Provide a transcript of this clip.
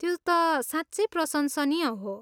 त्यो त साँच्चै प्रशंसनीय हो।